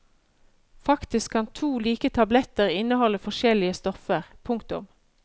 Faktisk kan to like tabletter inneholde forskjellige stoffer. punktum